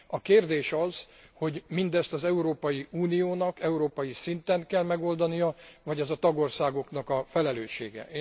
A kérdés az, hogy mindezt az Európai Uniónak európai szinten kell megoldania, vagy ez a tagországok felelőssége.